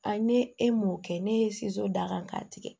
ne e m'o kɛ ne ye d'a kan k'a tigɛ